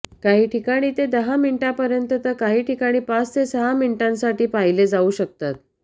काही ठिकाणी ते दहा मिनिटांपर्यंत तर काही ठिकाणी पाच ते सहा मिनिटांसाठी पाहिले जाऊ शकतात